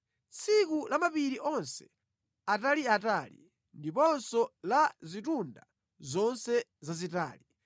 tsiku la mapiri onse ataliatali ndiponso la zitunda zonse zazitali,